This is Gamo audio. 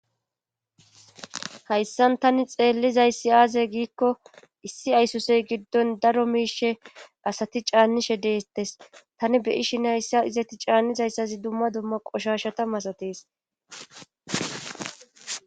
hayssan tani xeellizayssi aaze giikko issi aysosey giddon daro miishe asati caannishe deestes tani beyishine hayssa izeti caannizayssazi dumma dumma qoshashata masatees